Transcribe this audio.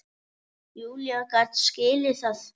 Júlía gat skilið það.